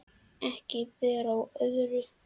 Ekki ber á öðru